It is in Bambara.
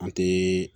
An te